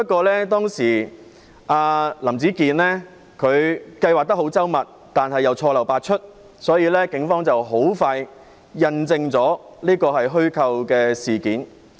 林子健計劃得很周密，但又錯漏百出，所以警方很快便印證這是虛構事件。